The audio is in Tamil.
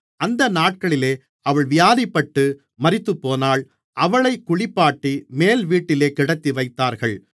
அந்த நாட்களிலே அவள் வியாதிப்பட்டு மரித்துப்போனாள் அவளைக் குளிப்பாட்டி மேல்வீட்டிலே கிடத்திவைத்தார்கள்